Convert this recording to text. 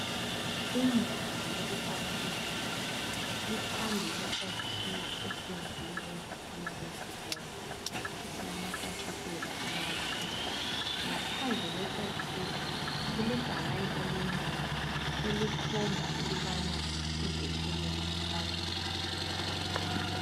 Indawo yokupaka izimota iphambi kwesakhiwo esenziwe ngezitina ezibomvu esilamafasitela amabili ngaphandle kwesakhiwo okulebhakani elincane elikhomba ukubana izethekeli zipaka ngaphi.